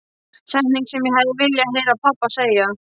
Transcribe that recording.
Setning sem ég hefði viljað heyra pabba segja.